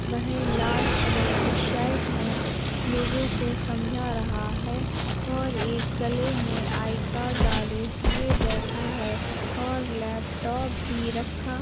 वह लाल कलर की शर्ट मे लोगों को समझा रहा है और एक गले मे आई कार्ड डाले हुए बैठा है और लैपटॉप भी रखा --